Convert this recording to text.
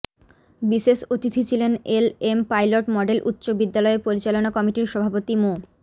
বিশেষ অতিথি ছিলেন এলএম পাইলট মডেল উচ্চ বিদ্যালয় পরিচালনা কমিটির সভাপতি মো